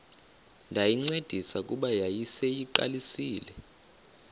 ndayincedisa kuba yayiseyiqalisile